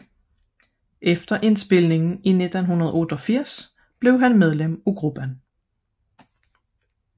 Efter indspilningen i 1988 blev han fuldgyldigt medlem af gruppen